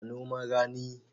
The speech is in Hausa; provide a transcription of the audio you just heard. A noman rani